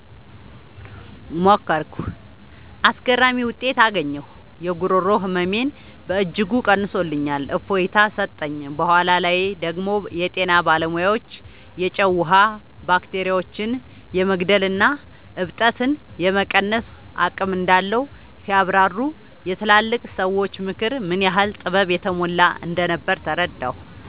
ሞከርኩ። አስገራሚ ውጤት አገኘሁ! የጉሮሮ ህመሜን በእጅጉ ቀንሶልኝ እፎይታ ሰጠኝ። በኋላ ላይ ደግሞ የጤና ባለሙያዎች የጨው ውሃ ባክቴሪያዎችን የመግደልና እብጠትን የመቀነስ አቅም እንዳለው ሲያብራሩ፣ የትላልቅ ሰዎች ምክር ምን ያህል ጥበብ የተሞላበት እንደነበር ተረዳሁ።